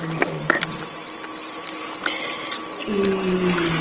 A Luísa já não está mais. E